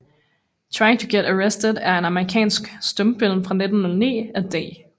Trying to Get Arrested er en amerikansk stumfilm fra 1909 af D